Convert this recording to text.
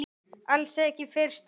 Alls ekki fyrsta mars!